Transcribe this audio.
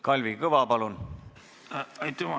Kalvi Kõva, palun!